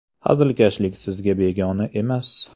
Hazilkashlik sizga begona emas.